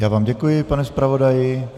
Já vám děkuji, pane zpravodaji.